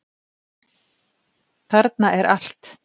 Þarna er allt.